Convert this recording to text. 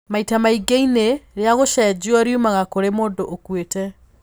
Maita maingĩ ini rĩa gũcenjio riumaga kúrĩ mũndũ ũkuĩte.